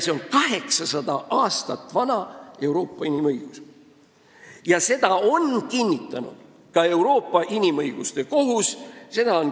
See on 800 aastat vana Euroopa inimõigus, mida on kinnitanud ka Euroopa Inimõiguste Kohus.